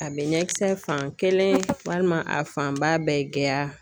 A be ɲɛ kisɛ fan kelen walima a fanba bɛɛ gɛya